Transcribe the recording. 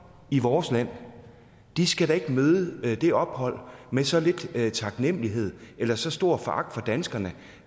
i vores land skal da ikke møde det ophold med så lidt taknemlighed eller med så stor foragt for danskerne